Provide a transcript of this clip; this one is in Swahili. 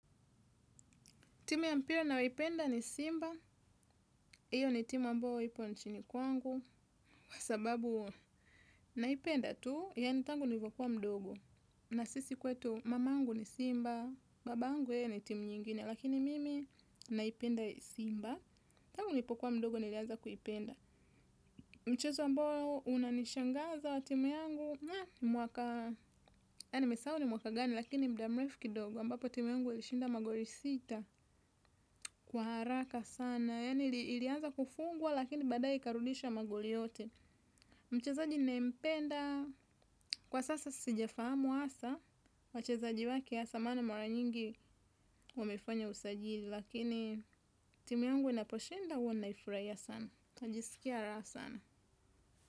Timu ya mpira ninayo ipenda ni Simba. Iyo ni timu ambao ipo nchini kwangu. Kwa sababu naipenda tu, yani tangu nilivokuwa mdogo. Na sisi kwetu mamangu ni Simba, babangu ye ni timu nyingine. Lakini mimi naipenda Simba. Tangu nilipokuwa mdogo niliaza kuipenda. Mchezo ambao unanishangaza wa timu yangu. Ya nimesau ni mwaka gani, lakini mda mrefu kidogo. Ambapo timu yangu ilishinda magoli sita kwa haraka sana. Na yani ilianza kufungwa lakini badae ikarudisha magoli yote. Mchezaji ninae mpenda. Kwa sasa sija fahamu asa. Wachezaji wake asa maana mara nyingi wamefanya usajili. Lakini timu yangu inaposhinda huwa naifraia sana. Najisikia raha sana.